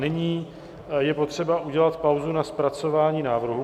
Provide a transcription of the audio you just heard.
Nyní je potřeba udělat pauzu na zpracování návrhu.